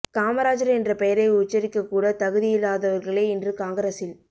காமராஜர் என்ற பெயரை உச்சரிக்கக் கூட தகுதி இல்லாதவர்களே இன்று காங்கிரஸில்